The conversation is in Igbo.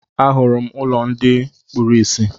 Ahụrụ m ụlọ ndị kpuru ìsì.